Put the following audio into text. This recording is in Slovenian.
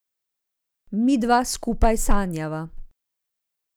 Midva skupaj sanjava.